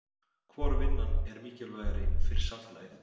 Hvor vinnan er mikilvægari fyrir samfélagið?